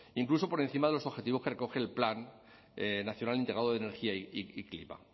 incluso por encima de los objetivos que recoge el plan nacional integrado de energía y clima